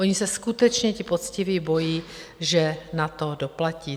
Oni se skutečně ti poctiví bojí, že na to doplatí.